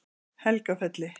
Helgafelli